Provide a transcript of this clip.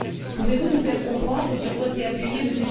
Pouvez vous nous faire comprendre sur quoi s'est appuyé M.